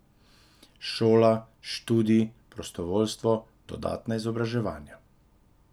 Šola, študij, prostovoljstvo, dodatna izobraževanja.